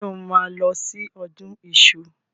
Ṣé o máa lọ sí ọdún iṣu?